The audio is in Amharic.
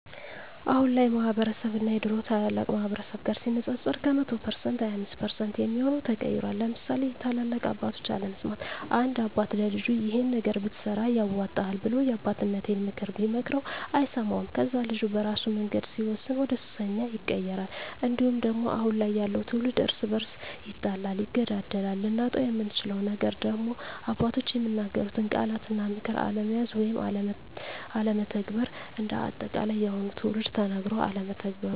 አሁን ያለው ማህበረስብ እና የድሮ ታላላቅ ማህበረሰብ ጋር ሲነፃፀር ከ100% 25% የሚሆው ተቀይሯል ለምሳሌ የታላላቅ ምክር አለመስማት፦ አንድ አባት ለልጁ ይሄን ነገር ብትሰራ ያዋጣሀል ብሎ የአባቴነተን ምክር ቢመክረው አይሰማውም ከዛ ልጁ በራሱ መንገድ ሲወስን ወደሱሰኛ ይቀየራል። እንዲሁም ደግሞ አሁን ያለው ትውልድ እርስ በርሱ ይጣላል ይገዳደላል። ልናጣው የምንችለው ነገር ደግሞ አባቶች የሚናገሩትን ቃላት እና ምክር አለመያዝ ወይም አለመተግበር። እንደ አጠቃላይ የአሁኑ ትውልድ ተነገሮ አለመተግበሩ